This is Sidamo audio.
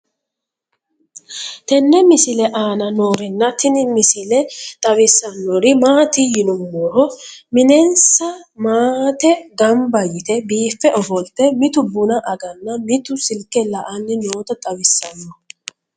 tenne misile aana noorina tini misile xawissannori maati yinummoro minenissa maatte ganbba yiitte biiffe ofolitte mitu bunna aganna mitu silike la'anni nootta xawissanno